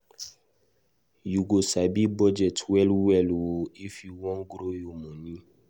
You go sabi budget well well o if you wan grow your moni.